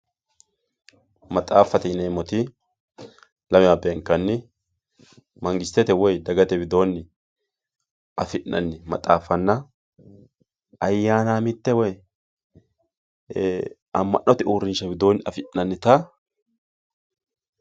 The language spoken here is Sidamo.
maxaaffate yineemmoti lamewa beenkanni mangistete woy dagate widoonni afi'nanni maxaaffanna ayyaanaamitte woy amma'note uurrinshsha widoonni afi'nannita.